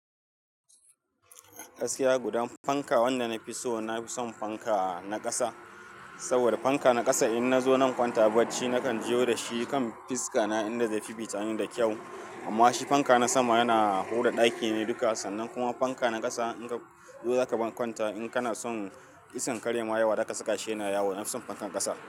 Gaskiya gudan fanka wanda na fi so, na fi son fanka na ƙasa. Saboda fanka na ƙasa in nazo zan kwanta a barci nakan jiyo da shi kan fiska na in da zai fiffita ni da kyau. Amma shi fanka na sama yana hura ɗaki ne duka sannan kuma fanka na ƙasa in ka zo za ka bar kwanta in kana son iskan kare ma yawa za ka saka shi yana yawo. Na fi son fankan ƙasa.